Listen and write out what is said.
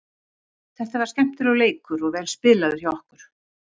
Þetta var skemmtilegur leikur og vel spilaður hjá okkur.